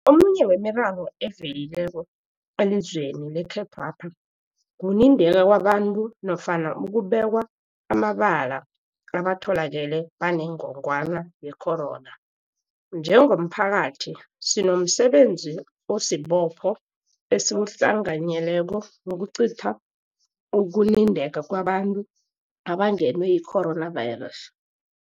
Omunye wemiraro evelileko elizweni lekhethwapha kunindeka kwabantu nofana ukubekwa amabala abatholakele banengogwana yecorona. Njengomphakathi, sinomsebenzi osibopho esiwuhlanganyeleko wokucitha ukunindeka kwabantu abangenwe yi-coronavirus.